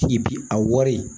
I bi a wari